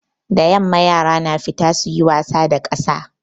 Da yamma yara na fita suyi wasa da ƙasa.